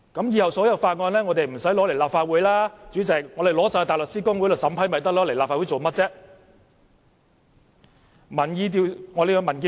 以後所有法案都無須提交立法會，直接送交大律師公會審批便可以，為何要提交立法會？